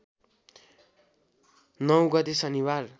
९ गते शनिबार